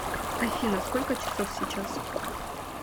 афина сколько часов сейчас